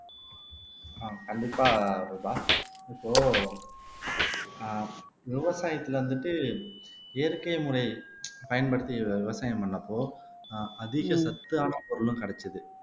அஹ் கண்டிப்பா ரூபா இப்போ ஆஹ் விவசாயத்துல வந்துட்டு இயற்கை முறை பயன்படுத்தி விவசாயம் பண்ணப்போ ஆஹ் அதிக சத்தான பொருளும் கிடைச்சது